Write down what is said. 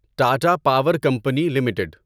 Tata power company limited